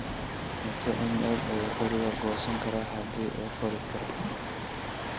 intee in le'eg ayuu qoriga goosan karaa haddii uu qori karo